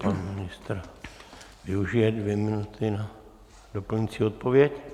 Pan ministr využije dvě minuty na doplňující odpověď.